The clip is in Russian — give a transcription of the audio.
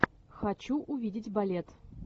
хочу увидеть балет